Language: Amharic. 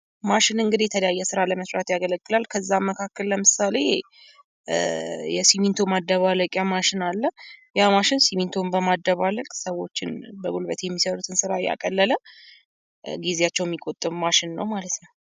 ማሽን እንግዲህ የተለያየ ስራ ለመስራት ያገለግላል። ከዛ መካከል ለምሳሌ የስሚንቶ ማደባለቂያ ማሽን አለ። ያ ማሽን ሲሚንቶን በማደባልቅ ሰዎችን በጉልበት የሚሰሩትን ስራ ያቀለለ ጊዜያቸውን የሚቆጥብ ማሽን ነው ማለት ነው።